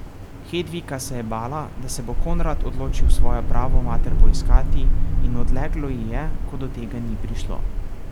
Hedvika se je bala, da se bo Konrad odločil svojo pravo mater poiskati, in odleglo ji je, ko do tega ni prišlo.